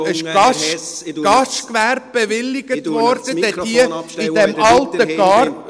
Ich schalte Ihnen das Mikrofon ab, wenn Sie weiterhin vom Thema abweichen.